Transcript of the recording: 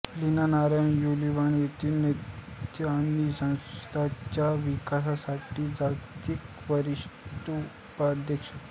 Leena Nair Unilever येथे नेतृत्व आणि संस्थेच्या विकासासाठी जागतिक वरिष्ठ उपाध्यक्ष